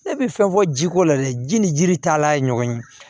Ne bɛ fɛn fɔ jiko la dɛ ji ni jiri taalan ye ɲɔgɔn ye